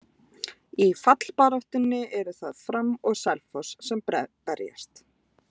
Í fallbaráttunni eru það Fram og Selfoss sem berjast.